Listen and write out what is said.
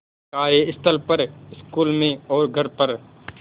कार्यस्थल पर स्कूल में और घर पर